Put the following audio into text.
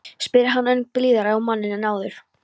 spyr hann ögn blíðari á manninn en áður.